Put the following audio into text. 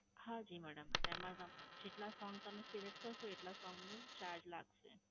હા જી madam, તેમાં તમ જેટલા song તમે select કરશો એટલા song નું charge લાગશે.